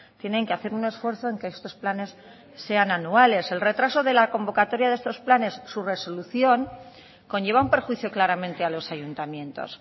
tienen que hacer un esfuerzo en que estos planes sean anuales el retraso de la convocatoria de estos planes su resolución conlleva un perjuicio claramente a los ayuntamientos